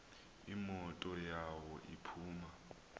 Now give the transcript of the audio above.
imoto yawo iphuma